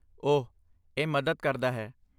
ਓਹ, ਇਹ ਮਦਦ ਕਰਦਾ ਹੈ।